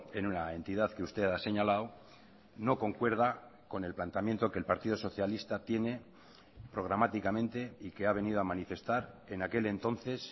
en una entidad que usted ha señalado no concuerda con el planteamiento que el partido socialista tiene programáticamente y que ha venido a manifestar en aquel entonces